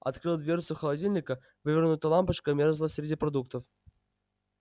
открыл дверцу холодильника вывернутая лампочка мёрзла среди продуктов